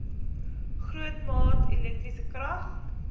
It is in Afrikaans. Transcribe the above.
grootmaat elektriese krag